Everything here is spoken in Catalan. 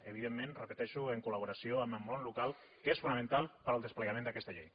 evidentment ho repeteixo en collaboració amb el món local que és fonamental per al desplegament d’aquesta llei